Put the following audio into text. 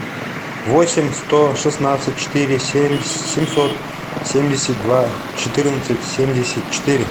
восемь сто шестнадцать четыре семь семьсот семьдесят два четырнадцать семьдесят четыре